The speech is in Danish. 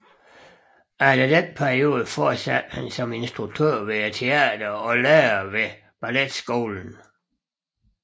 Efter denne periode fortsatte han som instruktør ved teatret og lærer ved balletskolen